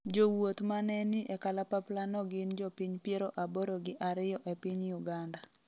jowuoth mane ni e kalapapla no gin jopiny piero aboro gi ariyo e piny Uganda